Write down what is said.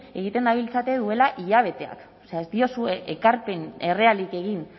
egiten dabiltzate duela hilabeteak o sea ez diozue ekarpen errealik egin